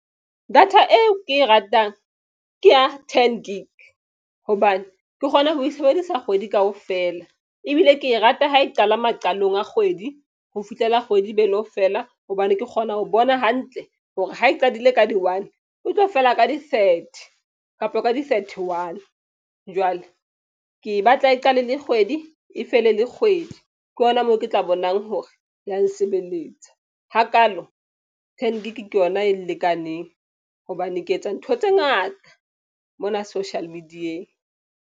Data eo ke e ratang ke ya ten gig hobane ke kgona ho e sebedisa kgwedi kaofela. Ebile ke e rata ha e qala maqalong a kgwedi ho fihlela kgwedi be lo fela. Hobane ke kgona ho bona hantle hore ha e qadile ka di one, o tlo fela ka di thirty kapa ka di thirty one. Jwale ke e batla e qale le kgwedi e fele le kgwedi. Ke hona moo ke tla bonang hore ya nsebeletsa hakaalo, ten gig ke yona e nlekaneng. Hobane ke etsa ntho tse ngata mona social media-eng.